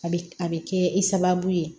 A bɛ a bɛ kɛ i sababu ye